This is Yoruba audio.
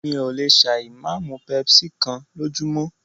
Mí ò lè ṣà ì máa mú pepsi kán lójúmọ́.